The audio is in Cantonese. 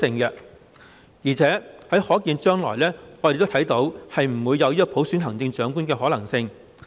而且我們亦看不到在可見的將來，有普選行政長官的可能性。